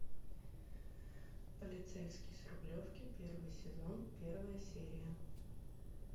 полицейский с рублевки первый сезон первая серия